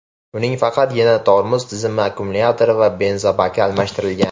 Uning faqatgina tormoz tizimi, akkumulyatori va benzobaki almashtirilgan.